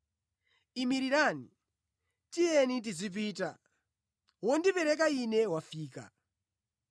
Imirirani, tiyeni tizipita! Wondipereka Ine wafika!”